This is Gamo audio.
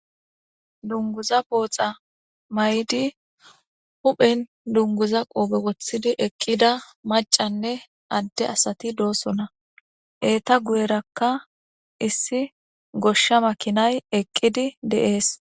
dunguza pooxa may7di huphen dunguza qoobe woththidi eqqida macanne adde asati doosona eeta guyerakka issi goshsha makinay eqqidi deees